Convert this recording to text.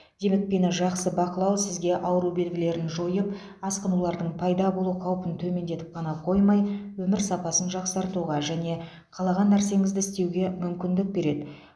демікпені жақсы бақылау сізге ауру белгілерін жойып асқынулардың пайда болу қаупін төмендетіп қана қоймай өмір сапасын жақсартуға және қалаған нәрсеңізді істеуге мүмкіндік береді